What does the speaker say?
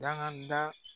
Daga da